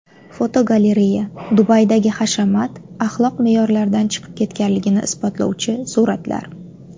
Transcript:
Fotogalereya: Dubaydagi hashamat axloq me’yorlaridan chiqib ketganligini isbotlovchi suratlar.